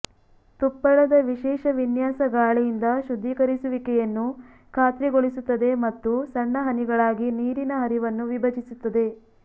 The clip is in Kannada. ತುಪ್ಪಳದ ವಿಶೇಷ ವಿನ್ಯಾಸ ಗಾಳಿಯಿಂದ ಶುದ್ಧೀಕರಿಸುವಿಕೆಯನ್ನು ಖಾತ್ರಿಗೊಳಿಸುತ್ತದೆ ಮತ್ತು ಸಣ್ಣ ಹನಿಗಳಾಗಿ ನೀರಿನ ಹರಿವನ್ನು ವಿಭಜಿಸುತ್ತದೆ